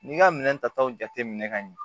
N'i ka minɛn tataw jate minɛ ka ɲɛ